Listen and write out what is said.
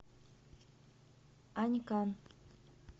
анькан